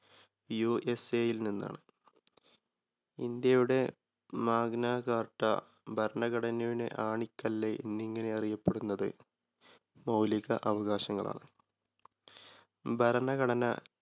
USA യിൽ നിന്നാണ്. ഇന്ത്യയുടെ Magna Carta ഭരണഘടനയുടെ ആണിക്കല്ല് എന്നിങ്ങനെ അറിയപ്പെടുന്നത് മൗലിക അവകാശങ്ങളാണ്. ഭരണഘടന